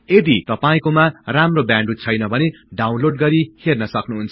यदि तपाईकोमा राम्रो ब्याडविथ छैन भने डाउनलोड गरि हेर्न सक्नुहुन्छ